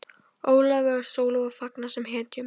Ólafi og Sólu var fagnað sem hetjum.